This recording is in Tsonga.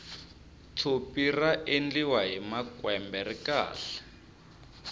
tshopi ra endliwa hi makwembe ri kahle